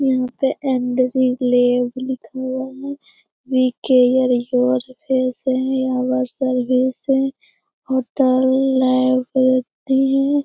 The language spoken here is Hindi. यहाँ पे लैब लिखा हुआ है वी केयर योर यहाँ सर्विस है होटल लैब नहीं है।